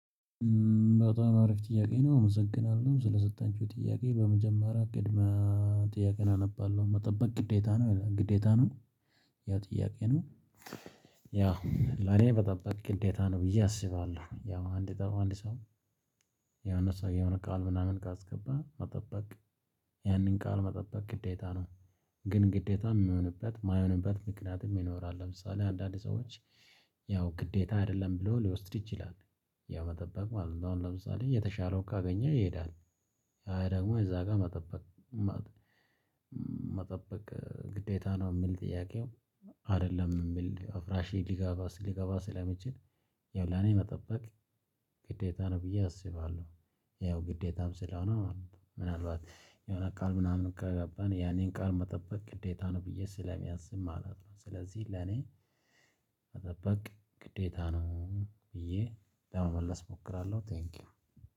በጣም አሪፍ ጥያቄ ነው። አመሰግናለሁ ስለሰጣችጉኝ ጥያቄ በመጀመሪያ ቅድመ ጥያቄን አነባለሁ መጠበቅ ግዴታ ነው ግዴታ ነው። ያ ጥያቄ ነው። ያ ለኔ መጠበቅ ነው ብዬ አስባለሁ ያው አንድ ጠባብ አንድ ሰው ያው እነሱ ያው ነቃል ምናምን ጋር አስገባ አጠባበቅ መጠበቅ ያንን ቃል መጠበቅ ግዴታ ነው። ግን ግዴታ የሚሆንበት የማይሆንበት ምክንያትም ለምሳሌ አንዳንድ ሰዎች ያው ግዴታ አይደለም ብሎ ሊወስድ ይችላል። ያው መጠበቅ ማለት ነው ለምሳሌ የተሻለው ካገኘ ይሄዳል። አይ ደግሞ እዛ ጋር መጠበቅ ግዴታ ነው የምል ጥያቄው? አይደለም የምል አፍራሽ ሊጋባ ሊጋባ ስለሚችል ይኸው ለኔ መጠበቅ ግዴታ ነው ብዬ አስባለሁ። ይኸው ግዴታም ስለሆነ ምናልባት የሆነ ቃል ምናምን ከገባን ያኔን ቃል መጠበቅ ግዴታ ነው ብዬ ስለሚያስብ ማለት ነው። ስለዚህ ለኔ መጠበቅ ግዴታ ነው። ብዬ ለመመለስ እሞክራለሁ። ቴንኪው